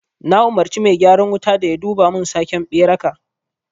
Na umarci mai gyaran wuta da yaduba mun sake beraka